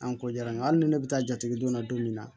An ko jara n ye hali ni ne bɛ taa jatigi donna don min na